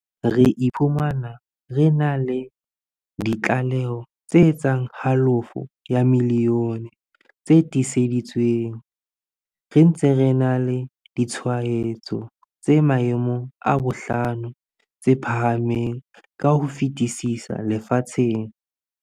Re iphumana re na le di tlaleho tse etsang halofo ya milione tse tiiseditsweng, re ntse re na le ditshwaetso tse maemong a bohlano tse phahameng ka ho fetisisa lefatsheng.